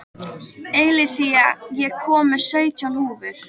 Eileiþía, ég kom með sautján húfur!